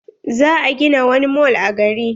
Za a gina wani mall a gari.